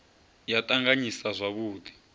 ya t anganyisa zwavhud i